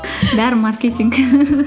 бәрі маркетинг